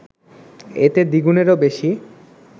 এতে দ্বিগুণেরও বেশি